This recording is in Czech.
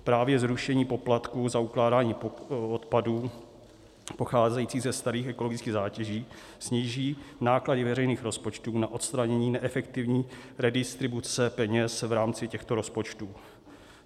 Právě zrušení poplatků za ukládání odpadů pocházejících ze starých ekologických zátěží sníží náklady veřejných rozpočtů na odstranění neefektivní redistribuce peněz v rámci těchto rozpočtů.